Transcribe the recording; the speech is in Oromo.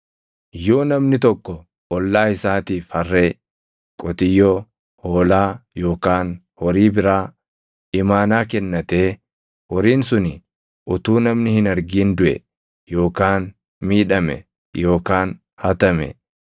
“Yoo namni tokko ollaa isaatiif harree, qotiyyoo, hoolaa yookaan horii biraa imaanaa kennatee horiin suni utuu namni hin argin duʼe yookaan miidhame yookaan hatame,